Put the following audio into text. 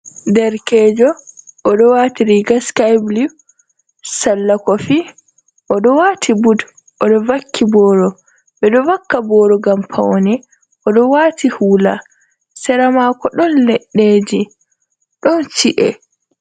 Derkejo oɗo wati riga sky blew, sala kofi, oɗo wati bud oɗo vaki boro, ɓeɗo vaka boro ngam paune, oɗo wati hula, sera mako ɗon leɗɗeji, ɗon chi’e.